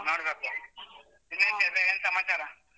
ನೋಡ್ಬೇಕು. ಇನ್ನೇನ್ ಚೈತ್ರ ಏನ್ ಸಮಾಚಾರ.